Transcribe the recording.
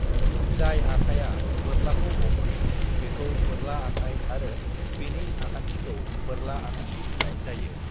जाय आखाया बोरलाखौ हमो बेखौ बोरला आखाय आरो बेनि आखान्थिखौ बोरला आखान्थि बुंनाय जायो।